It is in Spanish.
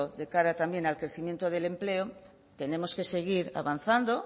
de cara también al crecimiento del empleo tenemos que seguir avanzando